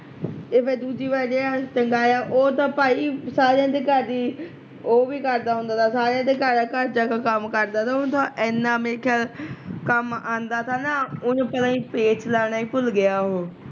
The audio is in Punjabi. ਤੇ ਫੇਰ ਦੂਜੀ ਵਾਰ ਜਿਹੜਾ ਅਸੀਂ ਟੰਗਾਇਆ ਉਹ ਤਾਂ ਭਾਈ ਸਾਰਿਆ ਦੇ ਘਰ ਦੀ ਉਹ ਵੀ ਕਰਦਾ ਹੁੰਦਾ ਤਾ, ਸਾਰਿਆ ਦੇ ਘਰ ਜਾ ਕੇ ਕੰਮ ਕਰਦਾ ਤਾ ਉਹਦਾ ਏਨਾਂ ਮੇਰੇ ਖਿਆਲ ਕੰਮ ਆਂਦਾ ਤਾਂ ਨਾ ਉਹ ਪਤਾ ਨੀ ਪੇਚ ਲਾਉਣਾ ਈ ਭੁੱਲ ਗਿਆ ਉਹ